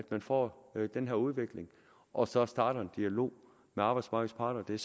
man får den her udvikling og så starter en dialog med arbejdsmarkedets parter det er